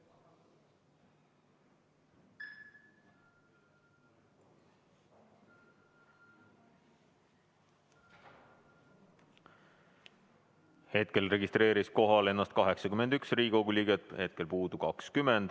Hetkel registreeris ennast kohalolijaks 81 Riigikogu liiget, puudub 20.